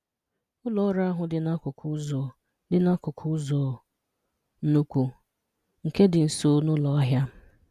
Ụlọ́ ọ́rụ ahụ̀ dị n’ákùkù ụzọ dị n’ákùkù ụzọ ńnukwu, nke dị nso na ụlọ́ àhịà